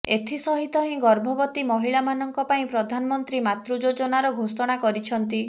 ଏଥିସହିତ ହିଁ ଗର୍ଭବତୀ ମହିଳାମାନଙ୍କ ପାଇଁ ପ୍ରଧାନମନ୍ତ୍ରୀ ମାତୃ ଯୋଜନାର ଘୋଷଣା କରିଛନ୍ତି